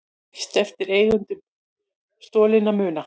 Lýst eftir eigendum stolinna muna